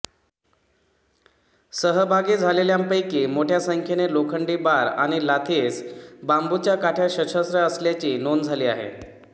सहभागी झालेल्यांपैकी मोठ्या संख्येने लोखंडी बार आणि लाथीस बांबूच्या काठ्या सशस्त्र असल्याची नोंद झाली आहे